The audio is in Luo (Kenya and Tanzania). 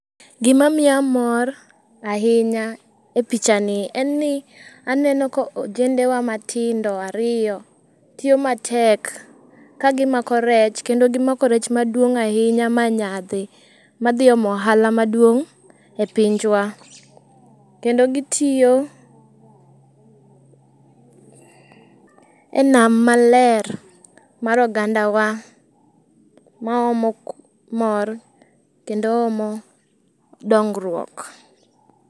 Gimamiya mor ahinya e picha ni en ni oneno ka ojendewa matindo ariyo tiyo matek kagimako rech kendo gimako rech maduong' ahinya manyadhi, madhi omo ohala maduong' epinjwa. Kendo gitiyo enam maler mar ogandawa maomo mor kendo omo dongruok.